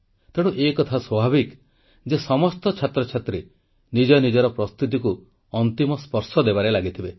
ତେଣୁ ଏହା ସ୍ୱାଭାବିକ ଯେ ସମସ୍ତ ଛାତ୍ରଛାତ୍ରୀ ନିଜ ନିଜର ପ୍ରସ୍ତୁତିକୁ ଅନ୍ତିମ ସ୍ପର୍ଶ ଦେବାରେ ଲାଗିଥିବେ